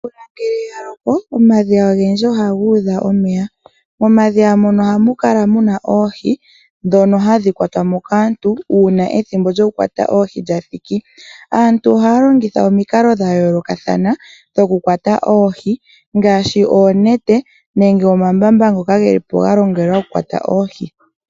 Omvula ngele yaloko omatalameno gomeya ngaashi omatale, omadhiya nayilwe ohayi kala yatalama omeya . Momadhiya ohamu kala muna oohi ndhoka hadhi yuulwamo kaantu uuna dhaadha okuyuulwa. Aantu ohaa longitha omikalo dhayooloka dhokuyuulamo oohi ngaashi onete, omambamba ngoka geli po galongelwa okukwata oohi nadhilwe.